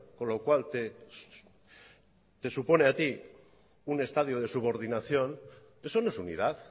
con lo cual te supone a ti un estadio de subordinación eso no es unidad